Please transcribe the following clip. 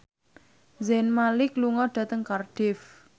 Zayn Malik lunga dhateng Cardiff